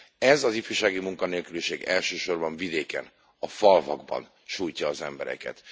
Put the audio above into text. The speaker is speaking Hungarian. Ez az ifjúsági munkanélküliség elsősorban vidéken, a falvakban sújtja az embereket.